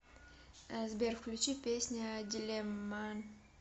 сбер включи песня дилемма